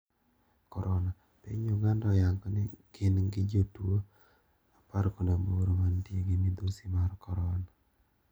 Korona: Piny Uganda oyango ni gin gi jotuo apar kod aboro mantie gi midhusi mar korona.